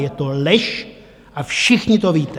Je to lež a všichni to víte!